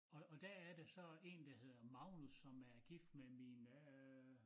Og og der er det så en der hedder Magnus som er gift med min øh